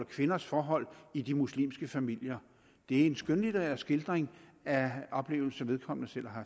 kvinders forhold i de muslimske familier det er en skønlitterær skildring af oplevelser vedkommende selv har